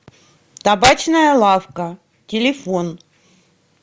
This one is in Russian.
табачная лавка телефон